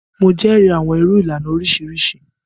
Mo jẹrìí awọn irú ìlànà oriṣiriṣi.